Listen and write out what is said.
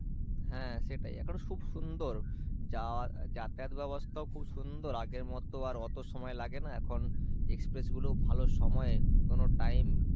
হ্যাঁ সেটাই এখন খুব সুন্দর যাওয়ার যাতায়াত ব্যবস্থাও খুব সুন্দর আগের মত আর অতো সময় লাগে না, এখন express গুলোও ভালো সময়ে কোনো time